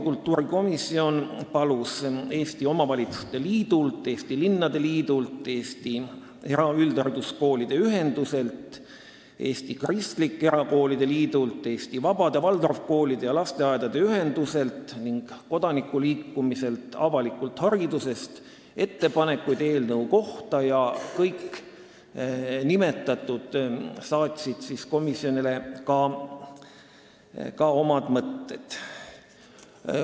Kultuurikomisjon palus ka Eesti Omavalitsuste Liidult, Eesti Linnade Liidult, Eesti Eraüldhariduskoolide Ühenduselt, Eesti Kristlike Erakoolide Liidult, Eesti Vabade Waldorfkoolide ja -lasteaedade Ühenduselt ning kodanikuliikumiselt Avalikult Haridusest ettepanekuid eelnõu kohta ja kõik nimetatud ka saatsid komisjonile oma mõtteid.